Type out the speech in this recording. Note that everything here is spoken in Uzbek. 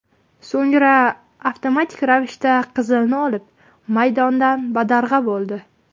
So‘ngra avtomatik ravishda qizilni olib, maydondan badarg‘a bo‘ldi.